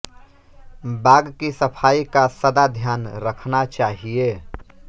बाग की सफाई का सदा ध्यान रखना चाहिए